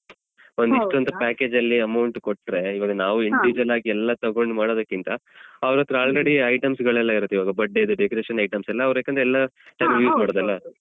ಒಂದಿಷ್ಟು package ಅಲ್ಲಿ amount ಕೊಟ್ರೆ ಇವಾಗ ನಾವು individual ಆಗಿ ಎಲ್ಲ ತಗೊಂಡು ಮಾಡೋದ್ಕ್ಕಿಂತ ಅವ್ರತ್ರ already items ಗಳೆಲ್ಲ ಇರುತ್ತೆ ಇವಾಗ birthday ಅದ್ದು decoration items ಎಲ್ಲ ಅವ್ರೆ ಎಲ್ಲ ಮಾಡುದಲ್ಲ.